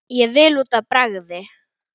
Ég vil út að bragði!